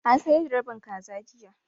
An sayar da rabin kaza jiya.